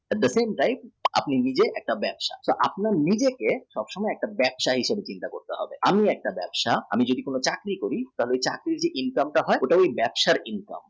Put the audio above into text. The thing is that আপনি নিজে একটা ব্যবসা তো আপনি নিজেকে একটা ব্যবসা হিসাবে চিন্তা করুন আমি নিজে একটা ব্যবসা আমি যদি কোনও চাকরি করি তাহলে চাকরির যে income হয় সেটা ব্যবসার income